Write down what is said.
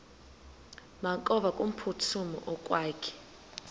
makevovike kumphuthumi okokwakhe